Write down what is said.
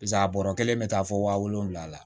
Piseke a bɔrɔ kelen bɛ taa fɔ waa wolonwula la